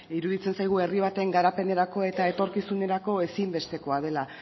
iruditzen zaigu herri baten garapenerako eta etorkizunerako ezinbestekoa dela